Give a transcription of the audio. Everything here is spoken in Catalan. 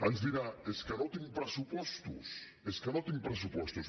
ens dirà és que no tinc pressupostos és que no tinc pressupostos